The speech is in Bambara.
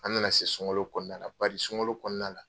An na na se sunkalo kɔnɔna la bari sunkalo kɔnɔna la